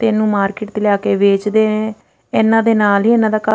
ਇਹਨੂੰ ਮਾਰਕੀਟ ਵਿੱਚ ਲਿਆ ਕੇ ਵੇਚਦੇ ਨੇ ਇਹਨਾਂ ਦੇ ਨਾਲ ਇਹਨਾਂ ਦਾ ਘਰ --